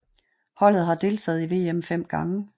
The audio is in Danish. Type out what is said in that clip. Holdet har deltaget i VM 5 gange